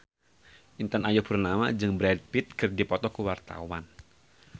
Intan Ayu Purnama jeung Brad Pitt keur dipoto ku wartawan